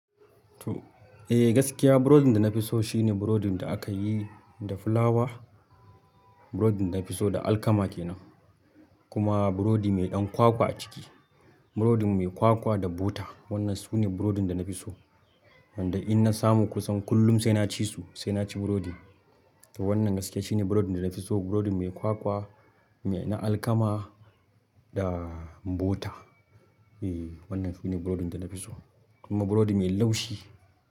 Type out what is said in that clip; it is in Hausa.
Eh gaskiya burodin da na fi so shine burodin da aka yi da fulawa, burodin da na fi so da alkama kenan. Kuma burodi mai ɗan kwakwa a ciki, burodin mai kwakwa da butter. Wannan su ne burodin da na fi so, wanda in na samu kusan kullum sai na ci su sai na ci burodi. To wannan gaskiya shine burodin da na fi so, burodin mai kwakwa, mai na alkama da butter. Eh wannan su ne burodin da na fi so, kuma burodi mai laushi.